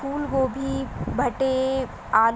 फूल गोबी भठे आल--